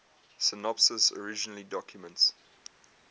synopses originally documents